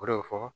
O de bɛ fɔ